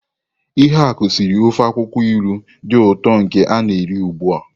Ihuaku siri ofe akwukwo ilu di uto nke i na-eri ugbua.